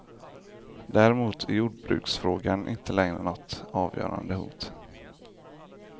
Däremot är jordbruksfrågan inte längre något avgörande hot.